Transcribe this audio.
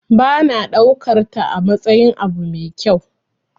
Ba na daukarta amatsayin abu mai kyau.